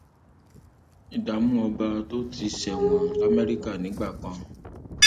ìdààmú ọba tó ti ṣẹwọn lamẹríkà nígbà kan